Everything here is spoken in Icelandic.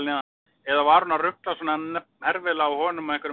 Eða var hún að ruglast svona herfilega á honum og einhverjum öðrum?